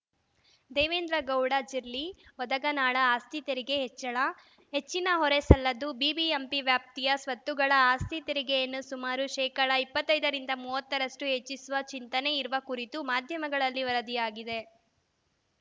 ದೇವೇಂದ್ರಗೌಡ ಜಿರ್ಲಿ ವದಗನಾಳ ಆಸ್ತಿ ತೆರಿಗೆ ಹೆಚ್ಚಳ ಹೆಚ್ಚಿನ ಹೊರೆ ಸಲ್ಲದು ಬಿಬಿಎಂಪಿ ವ್ಯಾಪ್ತಿಯ ಸ್ವತ್ತುಗಳ ಆಸ್ತಿ ತೆರಿಗೆಯನ್ನು ಸುಮಾರು ಶೇಕಡಾ ಇಪ್ಪತ್ತೈದರಿಂದ ಮೂವತ್ತರಷ್ಟು ಹೆಚ್ಚಿಸುವ ಚಿಂತನೆ ಇರುವ ಕುರಿತು ಮಾಧ್ಯಮಗಳಲ್ಲಿ ವರದಿಯಾಗಿದೆ